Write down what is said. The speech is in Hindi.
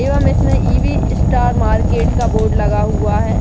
एवं इसमें इ.वी. स्टार मार्केट का बोर्ड लगा हुआ है।